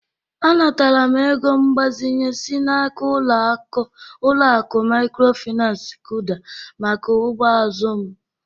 Anatara m ego mgbazinye si n'aka ụlọaku mikrofinansi KỤDA maka ugbo azụ m.